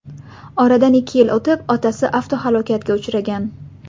Oradan ikki yil o‘tib, otasi avtohalokatga uchragan.